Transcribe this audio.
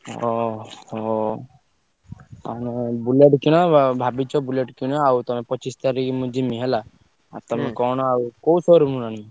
ଓହୋ! ତମେ Bullet କିଣ ବ~ ଭାବିଛ Bullet କିଣ ଆଉ ତମେ ପଚିଶି ତାରିଖ୍ ମୁଁ ଯିମି ହେଲା। ଆଉ ତମେ କଣ ଆଉ କୋଉ showroom ରୁ ଆଣିବ?